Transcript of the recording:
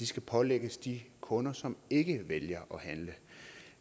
skal pålægges de kunder som ikke vælger